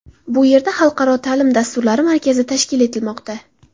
Bu yerda xalqaro ta’lim dasturlari markazi tashkil etilmoqda.